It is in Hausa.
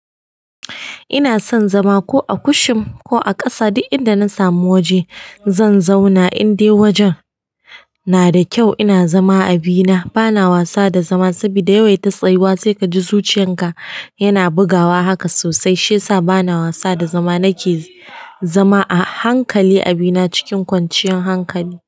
Ina son zama ko a kushin ko a ƙasa, duk inda na samu waje zan zauna in dai wajen na da kyau, ina zama a bina. Bana wasa da zama saboda yawaita tsayuwa sai ka ji zuciyan ka yana bugawa haka sosai, shi ya sa bana wasa da zama. Nake zama a hankali abina, cikin kwanciyar hankali.